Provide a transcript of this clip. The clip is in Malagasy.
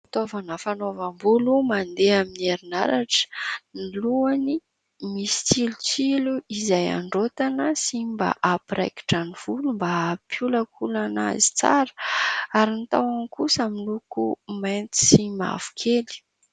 Fitaovana fanaovam-bolo mandeha amin'ny herinaratra. Ny lohany misy tsilotsilo izay andraotana sy mba hampiraikitra ny volo mba hampiolankolana azy tsara ary ny tahony kosa miloko mainty sy mavokely.